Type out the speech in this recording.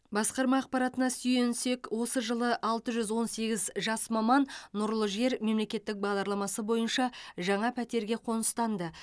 басқарма ақпаратына сүйенсек осы жылы алты жүз он сегіз жас маман нұрлы жер мемлекеттік бағдарламасы бойынша жаңа пәтерге қоныстанды